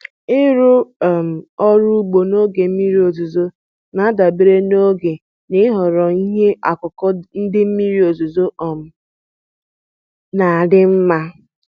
Ịrụ um ọrụ ugbo n'oge mmiri ọzụzụ na-adabere n'oge na ịhọrọ ihe ọkụkụ ndị mmiri ozuzo um na adị nma.